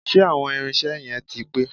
Ṣé àwọn irinṣẹ́ yẹn ti pé?